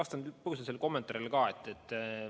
Ma kõigepealt vastan kommentaarile ka.